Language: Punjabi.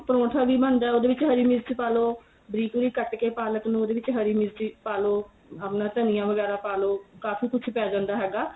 ਪਰੋਂਠਾ ਵੀ ਬਣਦਾ ਉਹਦੇ ਵਿੱਚ ਹਰੀ ਮਿਰਚ ਪਾ ਲੋ ਬਰੀਕ ਬਰੀਕ ਕੱਟ ਕੇ ਪਾਲਕ ਨੂ ਕੱਟ ਕੇ ਉਹਦੇ ਵਿੱਚ ਹਰੀ ਮਿਰਚੀ ਪਾ ਲੋ ਆਪਣਾ ਧਨੀਆ ਵਗੈਰਾ ਪਾ ਲੋ ਕਾਫੀ ਕੁੱਝ ਪੈ ਜਾਂਦਾ ਹੈਗਾ